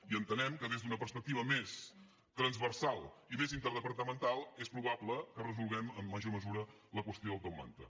i entenem que des d’una perspectiva més transversal i més interdepartamental és probable que resolguem amb major mesura la qüestió del top manta